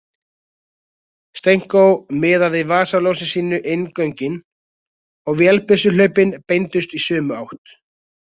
Stenko miðaði vasaljósi sínu inn göngin og vélbyssuhlaupin beindust í sömu átt.